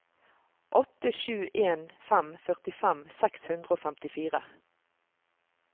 åtte sju en fem førtifem seks hundre og femtifire